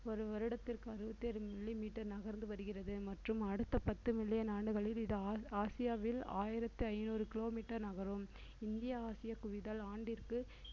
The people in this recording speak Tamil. ஒரு வருடத்திற்கு அறுபத்தி ஏழு millimeter நகர்ந்து வருகிறது மற்றும் அடுத்த பத்து மில்லியன் நாடுகளில் இது ஆ~ ஆசியாவில் ஆயிரத்து ஐநூறு kilometer நகரும் இந்திய ஆசிய குவிதல் ஆண்டிற்கு